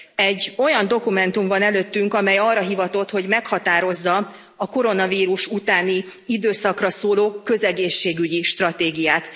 Egy olyan dokumentum van előttünk, amely arra hivatott, hogy meghatározza a koronavírus utáni időszakra szóló közegészségügyi stratégiát.